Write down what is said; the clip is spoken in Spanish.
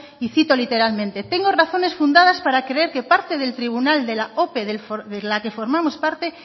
y cito literalmente tengo razones fundadas para creer que parte del tribunal de la ope de la que formamos parte